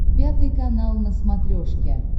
пятый канал на смотрешке